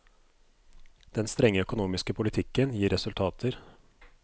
Den strenge økonomiske politikken gir resultater.